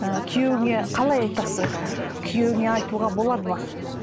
ы күйеуіңе қалай айтасың күйеуіңе айтуға болады ма